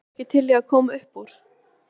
Eruð þið ekki til í að koma uppúr?